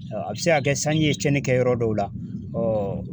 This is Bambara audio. a bɛ se ka kɛ sanji ye cɛnni kɛ yɔrɔ dɔw la